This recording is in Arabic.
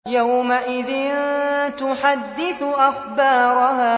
يَوْمَئِذٍ تُحَدِّثُ أَخْبَارَهَا